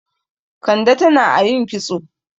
Kande tan ayin kitso.